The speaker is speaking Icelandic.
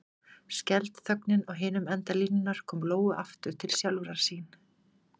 Skelfd þögnin á hinum enda línunnar kom Lóu aftur til sjálfrar sín.